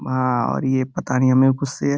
और ये पता नहीं हमें गुस्से --